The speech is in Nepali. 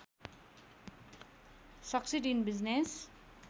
succeed in business